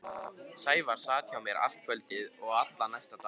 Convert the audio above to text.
Sævar sat hjá mér allt kvöldið og allan næsta dag.